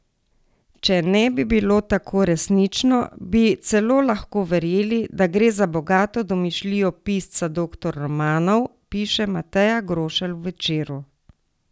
Če bi ne bilo tako resnično, bi celo lahko verjeli, da gre za bogato domišljijo pisca doktor romanov, piše Mateja Grošelj v Večeru.